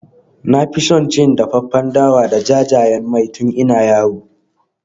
Na fi son cin dafaffen dawa da jajayen mai tun ina yaro.